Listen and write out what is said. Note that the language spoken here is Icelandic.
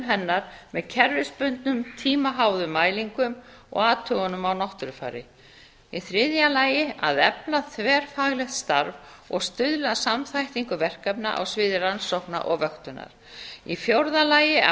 hennar með kerfisbundnum tímaháðum mælingum og athugunum á náttúrufari í þriðja lagi að efla þverfaglegt starf og stuðla að samþættingu verkefna á sviði rannsókna og vöktunar í fjórða lagi að